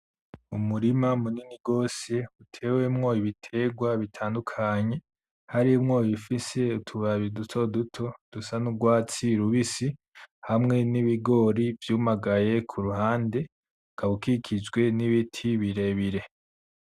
Umurima munini gose utewemwo ibiterwa bitandukanye harimwo ibifise utababi dutoduto dusa n’urwatsi rubisi hamwe n’ibigori vyumagaye ku ruhande, ukaba ukikijwe n’ibiti birebire.